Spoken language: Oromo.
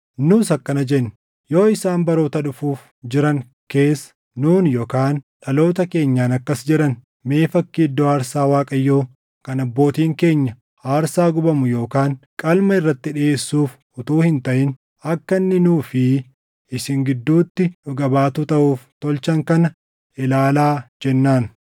“Nus akkana jenne; ‘Yoo isaan baroota dhufuuf jiran keessa nuun yookaan dhaloota keenyaan akkas jedhan, mee fakkii iddoo aarsaa Waaqayyoo kan abbootiin keenya aarsaa gubamu yookaan qalma irratti dhiʼeessuuf utuu hin taʼin akka inni nuu fi isin gidduutti dhuga baatuu taʼuuf tolchan kana ilaalaa jennaan.’